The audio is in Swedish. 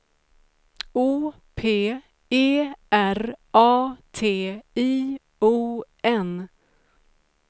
O P E R A T I O N